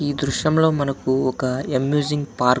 ఈ దృశ్యంలో మనకు ఒక ఏమ్యూసింగ్ పార్ --